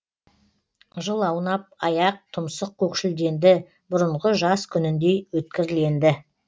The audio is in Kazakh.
жыл аунап аяқ тұмсық көкшілденді бұрынғы жас күніндей өткірленді